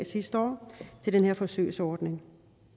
sidste år til den her forsøgsordning